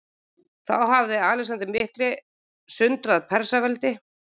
Þá hafði Alexander mikli sundrað Persaveldi.